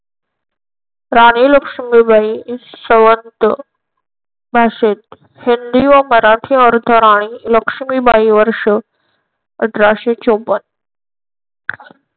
राणी लक्ष्मीबाई शवंत भाषेत हिंदी व मराठी अर्थराणी लक्ष्मीबाई वर्ष अठराशे चौपन्न